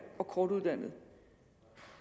og kortuddannede